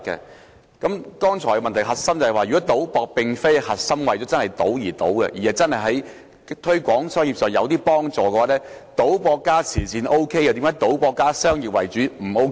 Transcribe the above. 我剛才的補充質詢的核心是，如果賭博並非為賭而賭，而是有助推廣生意，為何賭博加慈善 OK， 但賭博加商業為主則不 OK？